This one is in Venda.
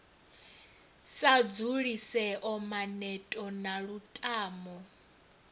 sa dzulisea maneto na lutamo